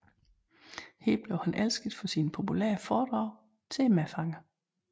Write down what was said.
Her blev han elsket for sine populære foredrag til medfangerne